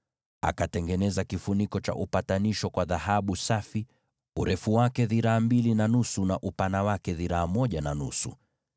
Akatengeneza kifuniko cha upatanisho kwa dhahabu safi: urefu wake ulikuwa dhiraa mbili na nusu, na upana wake dhiraa moja na nusu.